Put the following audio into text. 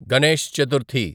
Ganesh Chaturthi